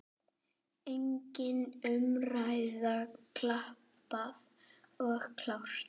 Engin umræða, klappað og klárt.